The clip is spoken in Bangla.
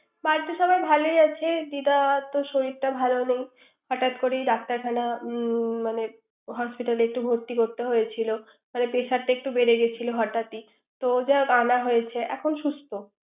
বাড়িতে সাবাই ভালোই আছে। দিদাতো শরীরটা ভালো নেই। হঠাৎ করেই ডাক্তার খানা নিয়ে মানে hospital একটু ভর্তি করতে হয়ছিল। পেশারটা একটু বেড়ে গেছিল হঠাৎই তো যাই হোক আনা হয়েছে।